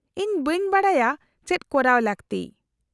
-ᱤᱧ ᱵᱟᱹᱧ ᱵᱟᱰᱟᱭᱟ ᱪᱮᱫ ᱠᱚᱨᱟᱣ ᱞᱟᱹᱠᱛᱤ ᱾